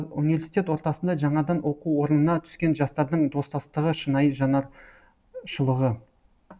университет ортасында жаңадан оқу орнына түскен жастардың достастығы шынайы жанаршылығы